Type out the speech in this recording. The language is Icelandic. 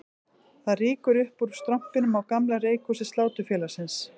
Það rýkur upp úr strompinum á gamla reykhúsi Sláturfélagsins